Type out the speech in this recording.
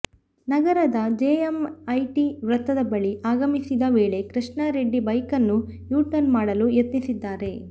ನಗರದ ಜೆಎಮ್ಐಟಿ ವೃತ್ತದ ಬಳಿ ಆಗಮಿಸಿದ ವೇಳೆ ಕೃಷ್ಣಾರೆಡ್ಡಿ ಬೈಕನ್ನು ಯೂಟರ್ನ್ ಮಾಡಲು ಯತ್ನಿಸಿದ್ದಾರೆ